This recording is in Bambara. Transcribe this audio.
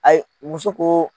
Ayi muso ko.